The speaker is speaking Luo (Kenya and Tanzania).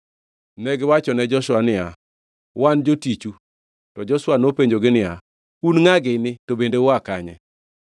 Negiwachone Joshua niya, “Wan jotichu.” To Joshua nopenjogi niya, “Un ngʼa gini to bende ua kanye?”